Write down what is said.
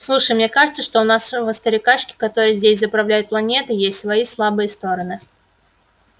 слушай мне кажется что у нашего старикашки который здесь заправляет планетой есть свои слабые стороны